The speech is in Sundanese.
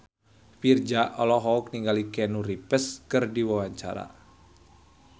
Virzha olohok ningali Keanu Reeves keur diwawancara